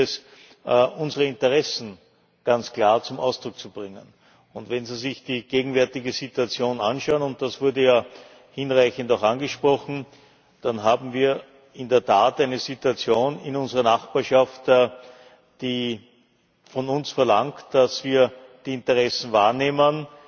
Da gilt es, unsere Interessen ganz klar zum Ausdruck zu bringen. Wenn Sie sich die gegenwärtige Situation anschauen und das wurde ja auch hinreichend angesprochen dann haben wir in der Tat eine Situation in unserer Nachbarschaft, die von uns verlangt, dass wir die Interessen wahrnehmen,